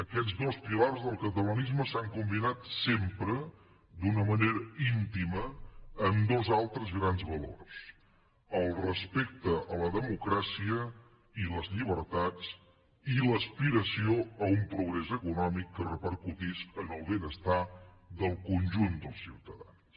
aquests dos pilars del catalanisme s’han combinat sempre d’una manera íntima amb dos altres grans valors el respecte a la democràcia i les llibertats i l’aspiració d’un progrés econòmic que repercutís en el benestar del conjunt dels ciutadans